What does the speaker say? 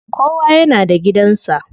Kowa yana da gidan sa.